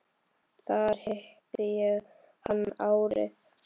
Þar hitti ég hann árið